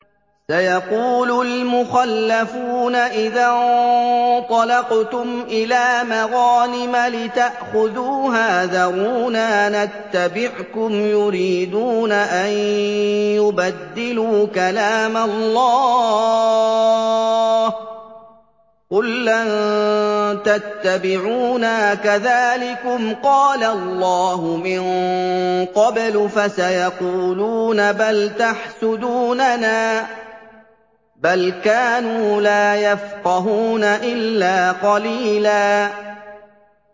سَيَقُولُ الْمُخَلَّفُونَ إِذَا انطَلَقْتُمْ إِلَىٰ مَغَانِمَ لِتَأْخُذُوهَا ذَرُونَا نَتَّبِعْكُمْ ۖ يُرِيدُونَ أَن يُبَدِّلُوا كَلَامَ اللَّهِ ۚ قُل لَّن تَتَّبِعُونَا كَذَٰلِكُمْ قَالَ اللَّهُ مِن قَبْلُ ۖ فَسَيَقُولُونَ بَلْ تَحْسُدُونَنَا ۚ بَلْ كَانُوا لَا يَفْقَهُونَ إِلَّا قَلِيلًا